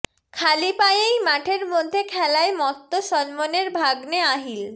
খালি পায়েই মাঠের মধ্যে খেলায় মত্ত সলমনের ভাগ্নে আহিল